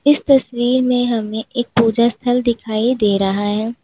इस तस्वीर में हमें एक पूजा स्थल दिखाई दे रहा है।